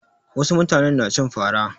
Wasu mutanen na cin fara.